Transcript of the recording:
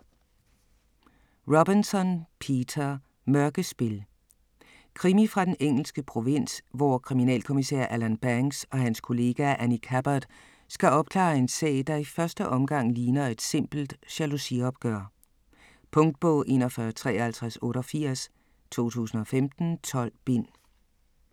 Robinson, Peter: Mørkespil Krimi fra den engelske provins, hvor kriminalkommissær Alan Banks og hans kollega, Annie Cabbot, skal opklare en sag, der i første omgang ligner et simpelt jalousiopgør. Punktbog 415388 2015. 12 bind.